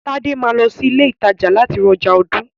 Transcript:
Tade máa lọ sí ilé ìtajà láti ra ọjà ọdún.